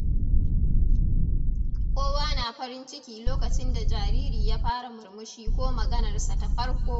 Kowa na farin ciki lokacin da jariri ya fara murmushi ko maganarsa ta farko.